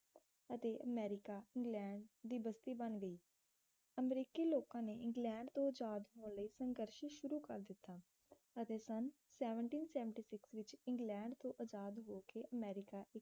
ਅਤੇ America England ਦੀ ਬਸਤੀ ਬਣ ਗਈ ਅਮਰੀਕੀ ਲੋਕਾਂ ਨੇ ਇੰਗਲੈਂਡ ਤੋਂ ਆਜ਼ਾਦ ਹੋਣ ਲਈ ਸੰਘਰਸ਼ ਸ਼ੁਰੂ ਕਰ ਦਿੱਤਾ ਅਤੇ ਸਨ seventeen seventy six ਵਿੱਚ ਇੰਗਲੈਂਡ ਤੋਂ ਆਜ਼ਾਦ ਹੋ ਕੇ ਅਮਰੀਕਾ ਇੱਕ